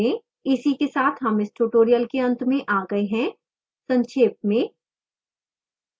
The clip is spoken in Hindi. इसी के साथ हम इस tutorial के अंत में आ गए हैं संक्षेप में